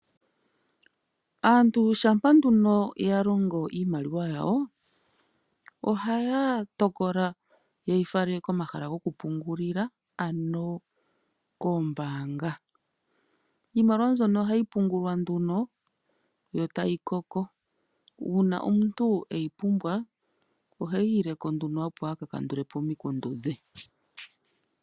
Aantu shampa nduno ya longo iimaliwa yawo ohaya tokola nduno ye yi fale komahala gokupungulila ano koombaanga. Iimaliwa mbyono ohayi pungulwa nduno tayi koko uuna omuntu eyi pumbwa oheyi ileko nduno, opo aka kandule po omikundu dhe.